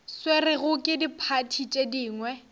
swerwego ke diphathi tše dingwe